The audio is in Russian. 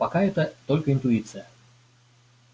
пока это только интуиция